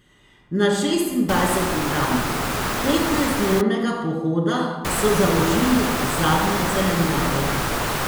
Na šestindvajseti dan petnajstdnevnega pohoda so zaužili zadnjo zelenjavo.